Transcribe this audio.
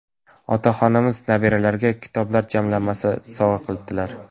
Otaxonimiz nabiralariga kitoblar jamlanmasi sovg‘a qilibdilar.